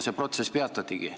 See protsess peatatigi.